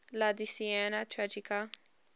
la decena tragica